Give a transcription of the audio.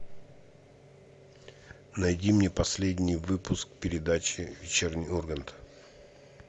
найди мне последний выпуск передачи вечерний ургант